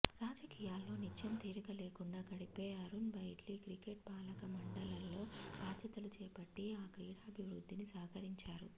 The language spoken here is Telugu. రాజకీయాల్లో నిత్యం తీరిక లేకుండా గడిపే అరుణ్ జైట్లీ క్రికెట్ పాలక మండళ్లలో బాధ్యతలు చేపట్టి ఆ క్రీడాభివృద్ధికి సహకరించారు